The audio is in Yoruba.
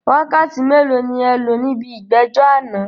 Wákàtí mélòó ni ẹ lò níbi ìgbẹ́jọ́ àná?